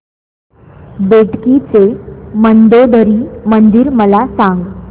बेटकी चे मंदोदरी मंदिर मला सांग